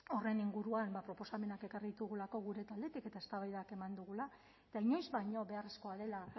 horren inguruan proposamenak ekarri ditugulako gure taldetik eta eztabaidak eman dugula eta inoiz baino beharrezkoa dela